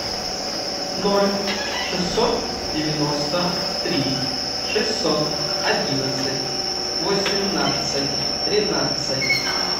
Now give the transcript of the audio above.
ноль шестьсот девяносто три шестьсот одиннадцать восемнадцать тринадцать